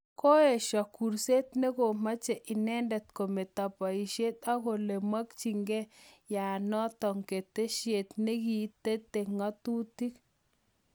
Koesho kurset ne komeche inendet kometo poishet akole kometachikayayanatok keteshiet nekitete ng'atutik